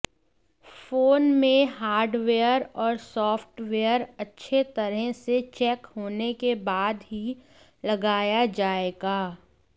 phone में hardware और software अच्छे तरह से चेक होने के बाद ही लगाया जाएगा